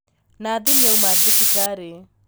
Nathi nīauma thibitarī